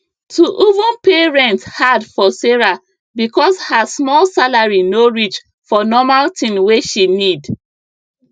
to even pay rent hard for sarah because her small salary no reach for normal thing wey she need